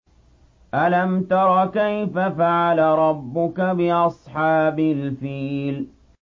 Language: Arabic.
أَلَمْ تَرَ كَيْفَ فَعَلَ رَبُّكَ بِأَصْحَابِ الْفِيلِ